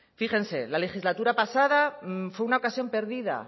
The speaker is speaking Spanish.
fíjense la legislatura pasada fue una ocasión perdida